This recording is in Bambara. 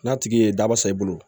N'a tigi ye daba sɔrɔ i bolo